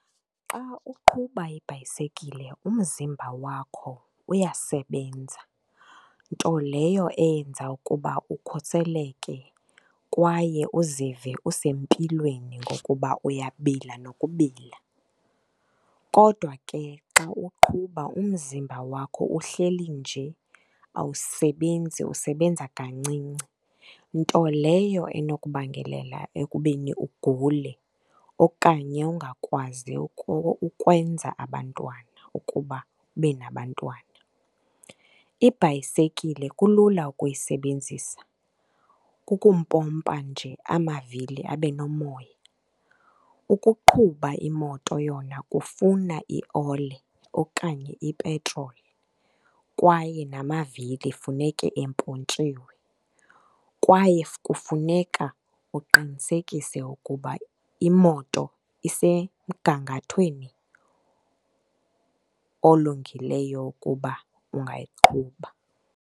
Xa uqhuba ibhayisekile umzimba wakho uyasebenza, nto leyo eyenza ukuba ukhuseleke kwaye uzive usempilweni ngokuba uyabila nokubila. Kodwa ke xa uqhuba umzimba wakho uhleli nje awusebenzi usebenza kancinci, nto leyo enokubangelela ekubeni ugule okanye ungakwazi ukwenza abantwana, ukuba ube nabantwana. Ibhayisekile kulula ukuyisebenzisa, kukumpompa nje amavili abe nomoya. Ukuqhuba imoto yona kufuna iole okanye ipetroli kwaye namavili kufuneka empontshiwe, kwaye kufuneka uqinisekise ukuba imoto isemgangathweni olungileyo ukuba ungayiqhuba.